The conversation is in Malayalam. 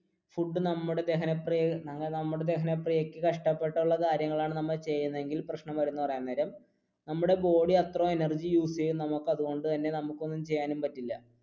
ഫുഡ് നമ്മുടെ ദഹനപ്രിയക്ക് നമ്മുടെ ദഹനപ്രിയക്ക് കഷ്ടപെട്ടുള്ള കാര്യമാണ് ചെയ്യുന്നത് എങ്കിൽ പ്രശ്നം എന്തെന്ന് പറയാൻ നേരം നമ്മുടെ body അത്രയും energy use ചെയ്യും അതുകൊണ്ടു തന്നെ നമുക്ക് ഒന്നും ചെയ്യാനും പറ്റില്ല.